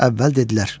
Əvvəl dedilər: